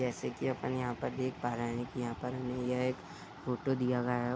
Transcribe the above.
जैसे कि अपन यहाँ पर देख पा रहें हैं कि यहाँ पर हमें यह एक फोटो दिया गया है।